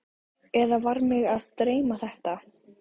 Eða var mig að dreyma þetta?